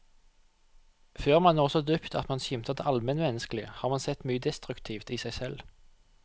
Før man når så dypt at man skimter det almenmenneskelige, har man sett mye destruktivt i seg selv.